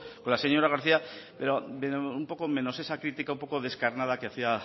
con la señora garcía pero un poco menos esa crítica un poco descarnada que había